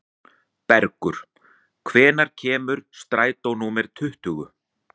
Bergur, hvenær kemur strætó númer tuttugu?